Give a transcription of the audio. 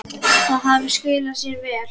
Það hafi skilað sér vel.